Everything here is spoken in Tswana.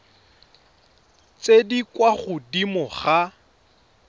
tse di kwa godimo ga